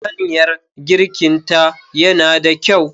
Hanyar girkinta yana da kyau.